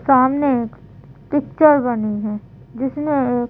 सामने एक पिक्चर बनी है जिसमें एक --